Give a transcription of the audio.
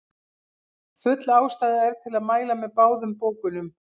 Full ástæða er til að mæla með báðum bókunum.